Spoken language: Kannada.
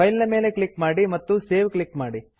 ಫೈಲ್ ಮೇಲೆ ಕ್ಲಿಕ್ ಮಾಡಿ ಮತ್ತು ಸೇವ್ ಕ್ಲಿಕ್ ಮಾಡಿ